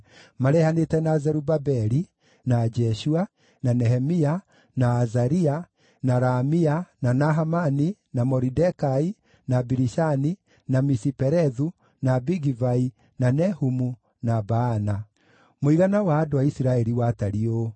marehanĩte na Zerubabeli, na Jeshua, na Nehemia, na Azaria, na Raamia, na Nahamani, na Moridekai, na Bilishani, na Misiperethu, na Bigivai, na Nehumu, na Baana): Mũigana wa andũ a Isiraeli watariĩ ũũ: